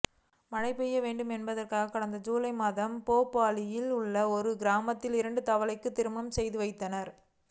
மழை பெய்ய வேண்டும் என்பதற்காக கடந்த ஜூலை மாதம் போபாலில் உள்ள ஒரு கிராமத்தில் இரண்டு தவளைகளுக்கு திருமணம் செய்துவைத்தனர்